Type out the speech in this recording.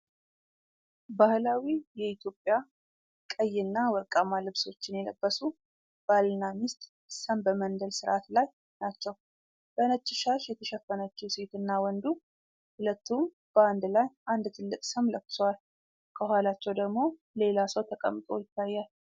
ባህላዊ የኢትዮጵያ ቀይና ወርቃማ ልብሶችን የለበሱ ባልና ሚስት ሰም በመንደል ሥርዓት ላይ ናቸው። በነጭ ሻሽ የተሸፈነችው ሴትና ወንዱ፣ ሁለቱም በአንድ ላይ አንድ ትልቅ ሰም ለኩሰዋል። ከኋላቸው ደግሞ ሌላ ሰው ተቀምጦ ይታያል።